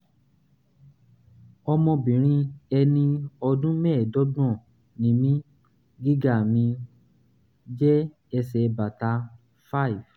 ọmọbìnrin ẹni um ọdún mẹ́ẹ̀ẹ́dọ́gbọ̀n ni mí gíga mi jẹ́ ẹsẹ̀ bàtà five